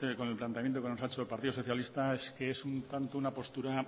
con el planteamiento que nos ha hecho el partido socialista es que es un tanto una postura